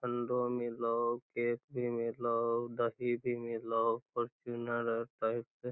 ठंडो मिलो केक भी मिलो दही भी मिलो फॉर्च्यूनर साइड से --